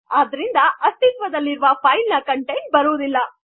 ಆದ್ದರಿಂದ ಅಸ್ತಿತ್ವ್ದಲ್ಲಿರದ ಫೈಲ್ ನ ಕಂಟೆಂಟ್ ರುವುದಿಲ್ಲ